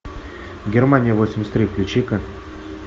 германия восемьдесят три включи ка